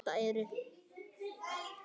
Þetta eru.